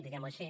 diguem ho així